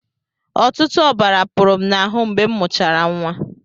Ọtụtụ ọbara pụrụ m n'ahụ mgbe m mụchara nwa.